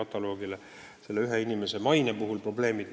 Tegu on ühe inimese maine probleemidega.